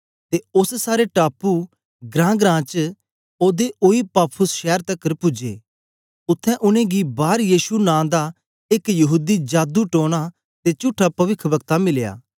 ते ओस सारे टापू ग्रांग्रां च ओदे ओई पाफुस शैर तकर पूजे उत्थें उनेंगी बारयीशु नां दा एक यहूदी जादू टोना ते झूठा पविखवक्ता मिलया